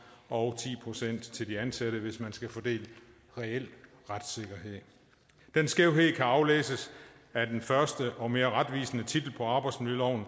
og ti procent til de ansatte hvis man skal fordele reel retssikkerhed den skævhed kan aflæses af den første og mere retvisende titel på arbejdsmiljøloven